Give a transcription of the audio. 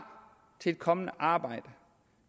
til et kommende arbejde